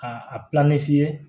A a ye